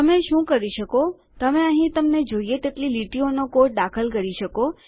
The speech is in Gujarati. તમે શું કરી શકો તમે અહીં તમને જોઈએ તેટલી લીટીઓનો કોડ દાખલ કરી શકો